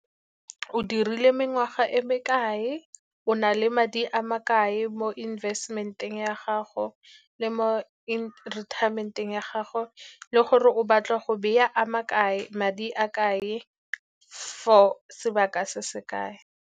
O dirile mengwaga e me kae, o na le madi a ma kae mo investment-eng ya gago le mo retirement-eng ya gago, le gore o batla go beya a ma kae, madi a ma kae for sebaka se se kae.